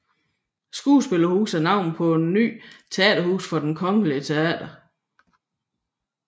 Skuespilhuset er navnet på et nyt teaterhus for Det kongelige Teater